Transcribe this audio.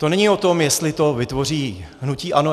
To není o tom, jestli to vytvoří hnutí ANO.